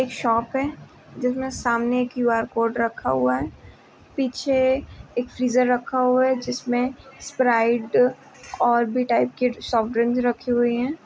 एक शॉप है जिसमें सामने क्यु.आर. कोड रखा हुआ है पीछे एक फ्रीजर रखा हुआ है जिसमें स्पराइट और भी टाइप की सोफ़्ट ड्रिंक रखी हुई है।